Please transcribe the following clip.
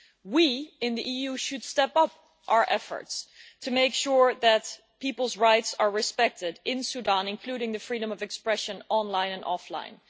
We in the EU should step up our efforts to make sure that people's rights are respected in Sudan, including the freedom of expression online and offline.